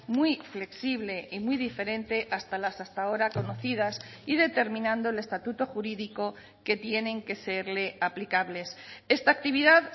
muy flexible y muy diferente hasta las hasta ahora conocidas y determinando el estatuto jurídico que tienen que serle aplicables esta actividad